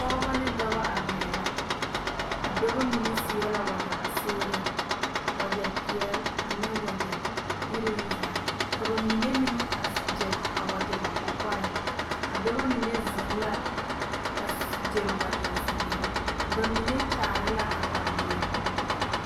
Pɔgeba ne dɔba arɛɛ la a dɔba mine seɛ la wagyɛ ba seereŋ wagyɛ peɛle ane wagyɛ iruŋ zaa ka ba mine meŋ gyere a wagyɛ ba kɔkɔreŋ a dɔba mine zeŋ la a gyere wagyɛ zeere ba mine kyaare la kataweɛ